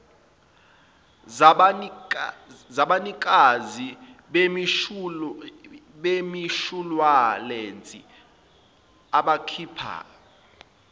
zabanikazi bemishuwalense abakhipha